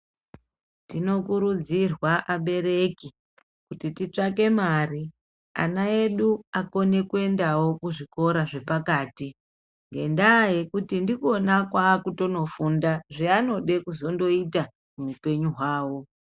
Tinokurudzirwa abereki kuti titsvake mari ana edu akone kuendawo kuzvikora zvepakati. Ngendaa yekuti ndikona kwakutonofunda zvanode kuzonoita muupenyu hwavo.